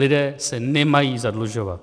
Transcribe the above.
Lidé se nemají zadlužovat.